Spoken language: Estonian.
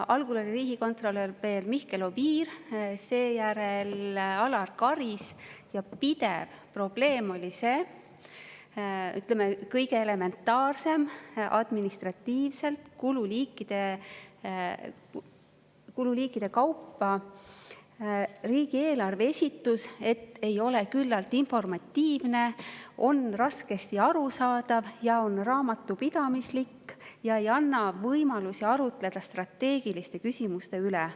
Algul oli riigikontrolör Mihkel Oviir, seejärel Alar Karis, ja pidev probleem oli see, et kõige elementaarsem riigieelarve esitus, administratiivselt kululiikide kaupa, ei ole küllalt informatiivne, see on raskesti arusaadav ja see on raamatupidamislik ega anna võimalusi arutleda strateegiliste küsimuste üle.